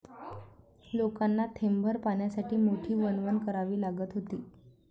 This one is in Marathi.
लोकांना थेंबभर पाण्यासाठी मोठी वणवण करावी लागत होती.